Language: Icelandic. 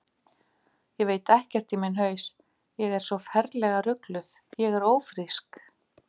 Ég veit ekkert í minn haus, ég er svo ferlega rugluð, ég er ófrísk.